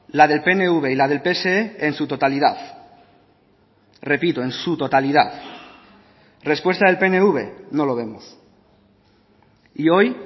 la del pnv y la del pse en su totalidad repito en su totalidad respuesta del pnv no lo vemos y hoy